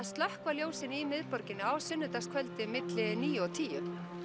slökkva ljósin í miðborginni á sunnudagskvöldið milli níu og tíu